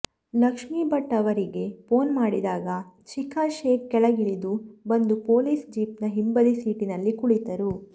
ಲಕ್ಷ್ಮೀಭಟ್ ಅವರಿಗೆ ಫೋನ್ ಮಾಡಿದಾಗ ಶಿಖಾ ಶೇಖ್ ಕೆಳಗಿಳಿದು ಬಂದು ಪೊಲೀಸ್ ಜೀಪ್ನ ಹಿಂಬದಿ ಸೀಟಿನಲ್ಲಿ ಕುಳಿತರು